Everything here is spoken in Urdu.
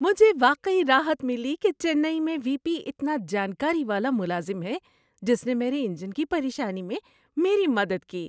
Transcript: مجھے واقعی راحت ملی کہ چنئی میں وی پی اتنا جانکاری والا ملازم ہے جس نے میرے انجن کی پریشانی میں میری مدد کی۔